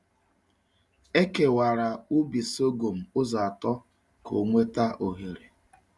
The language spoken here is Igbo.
Ekewara ubi sọgọm ụzọ atọ ka ọ nweta oghere.